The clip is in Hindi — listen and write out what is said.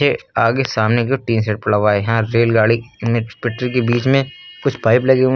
आगे सामने का टीन सेट पड़ा हुआ है यहां रेलगाड़ी इमेज पटरी के बीच में कुछ पाइप लगे हुए--